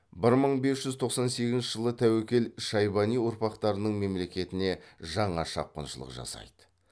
бір мың бес жүз тоқсан сегізінші жылы тәуекел шайбани ұрпақтарының мемлекетіне жаңа шапқыншылық жасайды